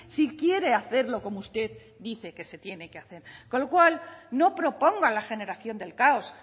si quiere hacerlo como usted dice que se tiene que hacer con lo cual no proponga la generación del caos